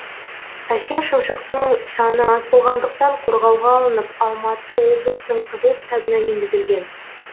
әсем шымшықтың саны аз болғандықтан қорғауға алынып алматы облысының қызыл кітабына енгізілген